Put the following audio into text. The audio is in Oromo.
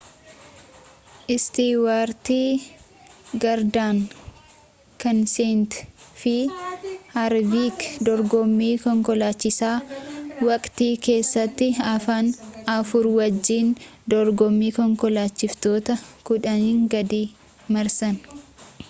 istiwaarti gaardan keenseet fi haarvik dorgommii konkolaachisaa waqtii keessatti hafan afur wajjiin dorgommii konkolaachiftootaa kudhanii gadii marsan